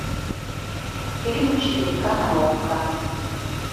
фильмы четыре ка на окко